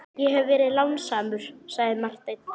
Ég hef verið lánsamur, sagði Marteinn.